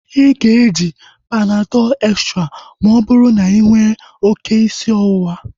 Ịga eji Panadọl extra ma ọ bụrụ na inwere oké isi ọwụwa